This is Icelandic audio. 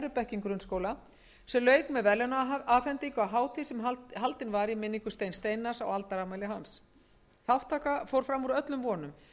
bekkjum grunnskóla sem lauk með verðlaunaafhendingu á hátíð sem haldin var í minningu steins steinarrs á aldarafmæli hans þátttaka fór fram úr öllum vonum eins og